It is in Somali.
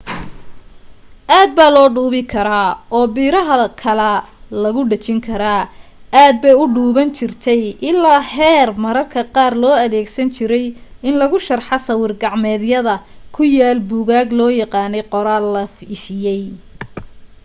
aad baa loo dhuubi karaa oo biraha kalaa lagu dhejin karaa. aad bay u dhuubnaan jirtay ilaa heer mararka qaar loo adeegsan jiray in lagu sharxo sawir gacmeedyada ku yaal buugaag loo yaqaanay qoraal la ifiyay